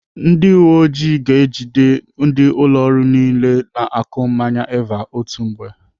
Ndị uwe ọjị ga-ejide ndị ụlọ ọrụ niile na-akụ mmanya Eva otu mgbe.